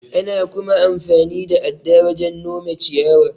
Ana kuma amfani da adda wajen nome ciyawa.